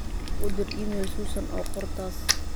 u dir iimayl susan oo qor taas